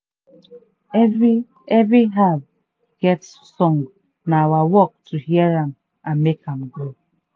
every every herb get song na our work to hear am and make am grow.